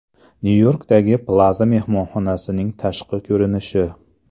Nyu-Yorkdagi Plaza mehmonxonasining tashqi ko‘rinishi.